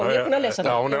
hennar hún er